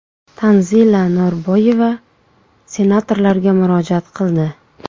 Tanzila Norboyeva senatorlarga murojaat qildi.